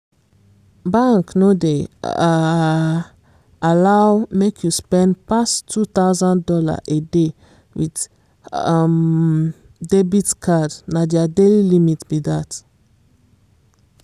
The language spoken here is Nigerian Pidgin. bank no dey um allow make you spend pass two thousand dollars a day with um debit card na their daily limit be dat.